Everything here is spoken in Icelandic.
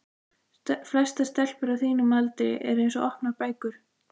Flestar stelpur á þínum aldri eru eins og opnar bækur.